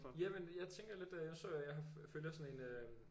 Jamen jeg tænker lidt nu så jeg jeg følger sådan en